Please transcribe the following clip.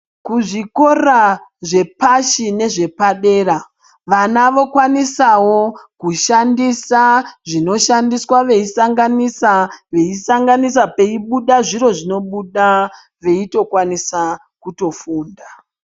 Kuzvikora zvepashi nezvepadera vana vokwanisawo kushandisa zvinoshandiswa veisanganisa veisanganisa peibuda zviro zvinobuda veitokwanisa kutofunda.